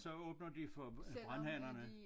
Så åbner de for brandhanerne